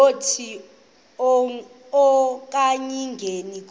lokuthi akayingeni konke